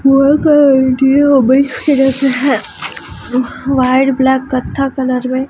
का इंटीरियर ओबे white colour से है वायर ब्लॅक कत्था कलर में --